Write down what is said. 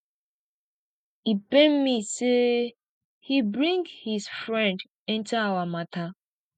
e pain me say he bring his friend enter our matter